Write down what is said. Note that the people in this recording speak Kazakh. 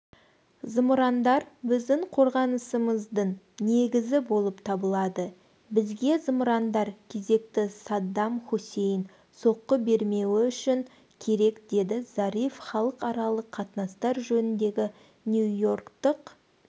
зымырандар біздің қорғанысымыздың негізі болып табылады бізге зымырандар кезекті саддам хусейн соққы бермеуі үшін керек деді зариф халықаралық қатынастар жөніндегі нью-йорктық